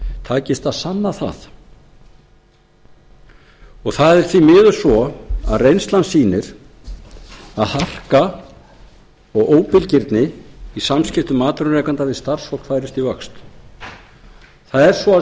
takist að sanna það það er því miður svo að reynslan sýnir að harka og óbilgirni í samskiptum atvinnurekenda við starfsfólk færist í vöxt það er svo að